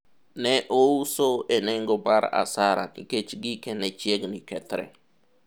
ne ouso e nengo mar asara nikech gike ne chiegni kethre